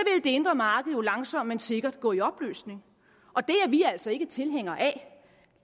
det indre marked jo langsomt men sikkert gå i opløsning og det er vi altså ikke tilhængere af